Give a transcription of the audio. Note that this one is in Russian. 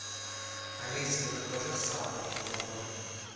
алиса закажи сахар килограмм